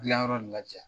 Gilan yɔrɔ nin lajɛ